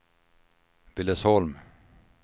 Billesholm